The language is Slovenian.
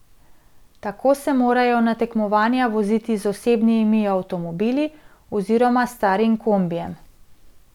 Tako se morajo na tekmovanja voziti z osebnimi avtomobili oziroma s starim kombijem.